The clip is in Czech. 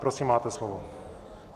Prosím, máte slovo.